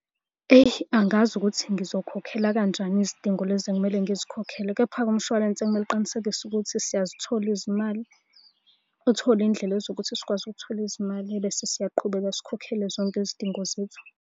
Eyi angazi ukuthi ngizokhokhela kanjani izidingo lezi ekumele ngizikhokhele, kepha-ke umshwalense kumele uqinisekise ukuthi siyazithola izimali. Uthole iy'ndlela zokuthi sikwazi ukuthola izimali ebese siyaqhubeka sikhokhele zonke izidingo zethu.